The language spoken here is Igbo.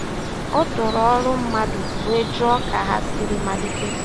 O tòrò ọ́rụ́ mmadụ́ wéé jụ́ọ́ kà ha sìrì malìtè.